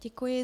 Děkuji.